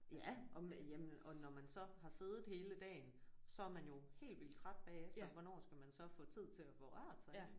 Ja og jamen og når man så har siddet hele dagen så er man jo helt vildt træt bagefter hvornår skal man så få tid til at få rørt sig